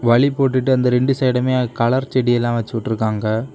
வழி போட்டுட்டு அந்த ரெண்டு சைடும்மே கலர் செடி எல்லாம் வச்சுட்டுக்காங்க.